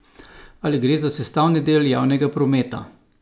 Ali gre za sestavni del javnega prometa?